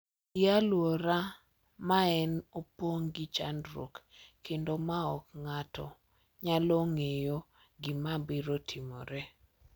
E alwora ma ne opong’ gi chandruok kendo ma ok ng’ato nyalo ng’eyo gima biro timore .